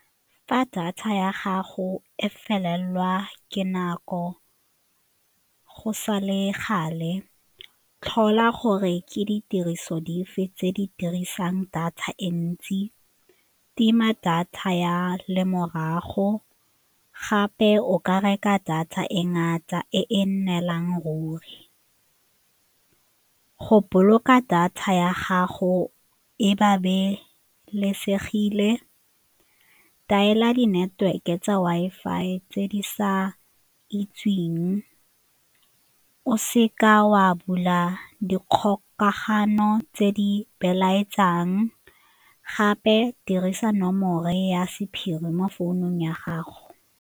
Fa data ya gago e felelwa ke nako go sa le gale, tlhola gore ke ditiriso dife tse di dirisang data e ntsi, tima data ya lemorago gape o ka reka data e ngata e e neelang ruri go boloka data ya gago e di-network-e tsa Wi-Fi tse di sa itseweng o se ka wa bula dikgokagano tse di belaetsang gape dirisa nomoro ya sephiri mo founung ya gago.